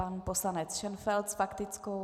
Pan poslanec Šenfeld s faktickou.